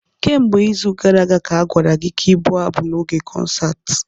Kemgbe izu gara aga ka a gwara gị ka ị bụ abụ n'oge konsaatị.